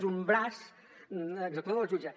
és un braç executor del jutge